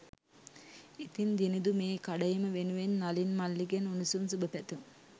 ඉතිං දිනිඳු මේ කඩඉම වෙනුවෙන් නලින් මල්ලිගෙන් උණුසුම් සුභ පැතුම්